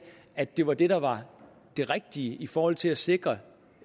at det var det der var det rigtige i forhold til at sikre